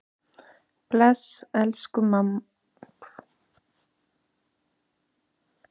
Bless, elsku amma Lára.